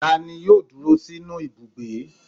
Ta ní yóò dúró sinú Ibúgbe?